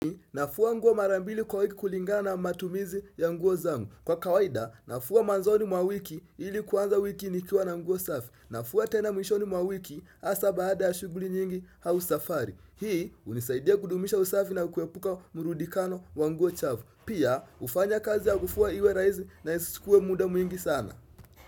Nafua nguo mara mbili kwa wiki kulingana matumizi ya nguo zangu kwa kawaida nafua manzoni mwa wiki ili kuanza wiki nikua na nguo safi nafua tena mwishoni mwa wiki hasa baada ya shughuli nyingi au safari hii unisaidia kudumisha usafi na kuepuka murudikano wa nguo chafu pia hufanya kazi ya kufua iwe rahisi na isichukue muda mwingi sana.